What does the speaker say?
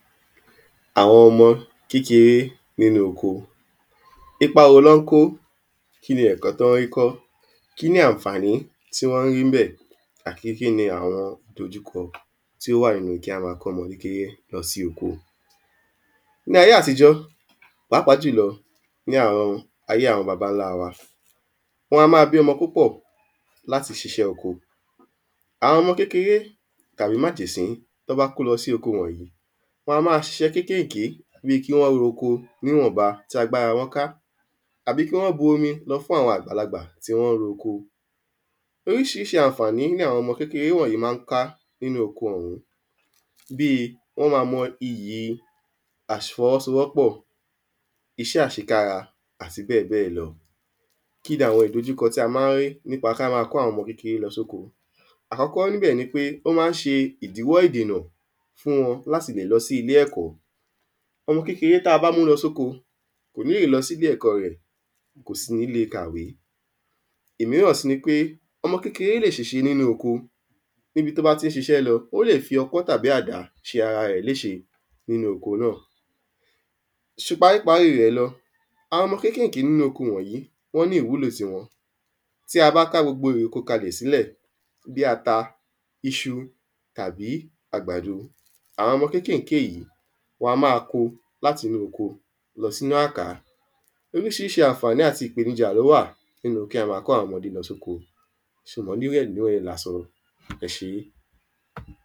àwọn ọmọ kékeré nínu oko, ipa wo ni wọ́n kó, kíni ẹ̀kó tí wọ́n rí kọ́, kíni àǹfàní tí wọ́n ń rí níbẹ̀ àti kíni àwọn ìdojúkọ tí ó wà nínu kí a máa kó àwọn ọmọ kékeré lọ sí oko ní ayé àtijọ́, pàápàá jùlọ ní ayé àwọn babańla wa, wọn á máa bí ọmọ púpọ̀ láti ṣiṣẹ́ oko àwọn ọmọ kékeré tàbí májèṣín tí wọ́n bá kó lọ sí oko wọn a máa ṣiṣẹ́ kékèké, bíi kí wọ́n ro oko ní ìwọ̀nba tí agbára wọ́n ká tàbí kí wọ́n bu omi lọ fún àwọn àgbàlagbà tí wọ́n ro oko. oríṣiríṣi àǹfàní ni àwọn ọmọ kékeré wọ̀nyí ma ń ká nínu àwọn oko wọ̀nyí bíi wọ́n máa mọ iyì àfi ọwọ́sowọ́pọ̀, iṣẹ́ àṣekára, àti bẹ́ẹ̀ bẹ́ẹ̀ lọ. kíni àwọn ìdojúkọ tí a ma ń rí nípa kí á máa kó àwọn ọmọ kékeré lọ sí oko. àkọ́kọ́ níbẹ̀ ni pé ó ma ń ṣe ìdíwọ́ ìdènà fún wọn láti lè lọ sí ilé-ẹ̀kọ́, ọmọ kékeré tí a bá mú lọ sókó, kò níì lè lọ sí ilé ẹ̀kọ rẹ̀ kò sì níi le ka ìwé òmíràn sì ni pé ọmọ kékeré lè ṣèṣe nínu oko níbi tí ó bá ti ṣiṣẹ́ lọ, ó lè ki ọkọ́ tàbí àdá ṣe ara rẹ̀ léṣe nínu oko náà Paríparí rẹ̀ lọ, àwọn ọmọ kékèké nínu oko wọ̀nyí, wọ́n ní ìwúlò tiwọn, tí a bá ká gbogbo ère oko kalẹ̀ sílẹ̀ bíi ata, iṣu, tàbí àgbàdo àwọn ọmọ kékeré wọn ma ń kó o lọ sínu àká. oríṣiríṣì àǹfàní àti ìpèníjà tó wà nínu kí á máa kọ́ àwọn ọmọdé lọ sí oko ṣùgbọ́n nínu rẹ̀ la sọ. ẹ ṣé